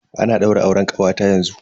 Ana daura auren kawata yanzu.